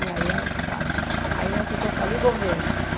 E aí, é claro, aí as pessoas falam, e o governo?